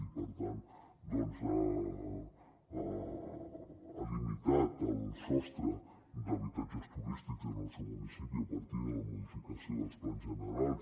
i per tant doncs ha limitat el sostre d’habitatges turístics en el seu municipi a partir de la modificació dels plans generals